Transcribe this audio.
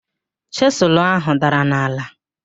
Chịsụlụ áhụ̀ dara n'ala.